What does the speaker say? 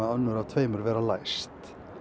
önnur af tveimur vera læst